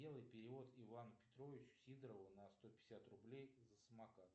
сделай перевод ивану петровичу сидорову на сто пятьдесят рублей за самокат